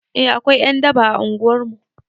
Eh akwai ƴan daba a unguwar mu